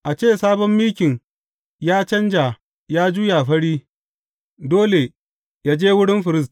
A ce sabon mikin ya canja ya juya fari, dole yă je wurin firist.